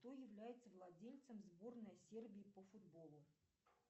кто является владельцем сборной сербии по футболу